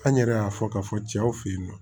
An yɛrɛ y'a fɔ k'a fɔ cɛw fe yen nɔ